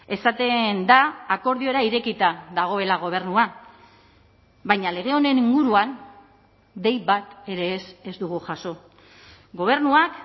esaten da akordiora irekita dagoela gobernua baina lege honen inguruan dei bat ere ez ez dugu jaso gobernuak